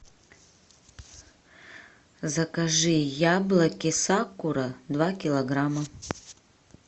закажи яблоки сакура два килограмма